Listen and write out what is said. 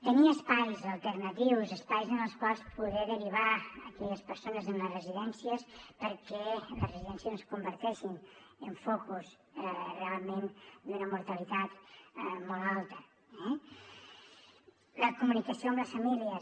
tenir espais alternatius espais en els quals poder derivar aquelles persones en les residències perquè les residències no es converteixin en focus realment d’una mortalitat molt alta eh la comunicació amb les famílies